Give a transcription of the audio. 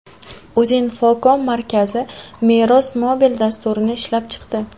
Uzinfocom markazi Meros mobil dasturini ishlab chiqdi.